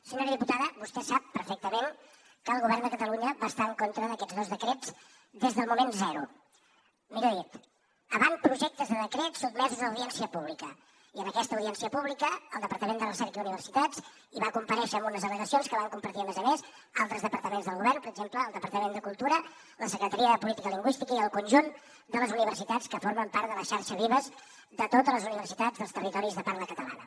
senyora diputada vostè sap perfectament que el govern de catalunya va estar en contra d’aquests dos decrets des del moment zero millor dit avantprojectes de decret sotmesos a audiència pública i en aquesta audiència pública el departament de recerca i universitats hi va comparèixer amb unes al·legacions que van compartir a més a més altres departaments del govern per exemple el departament de cultura la secretaria de política lingüística i el conjunt de les universitats que formen part de la xarxa vives de totes les universitats dels territoris de parla catalana